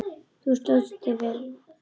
Þú stóðst þig vel.